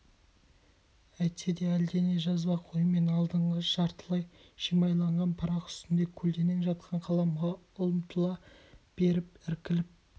әйтсе де әлдене жазбақ оймен алдындағы жартылай шимайланған парақ үстінде көлденең жатқан қаламға ұмтыла беріп іркіліп